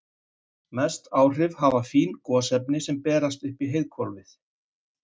Mest áhrif hafa fín gosefni sem berast upp í heiðhvolfið.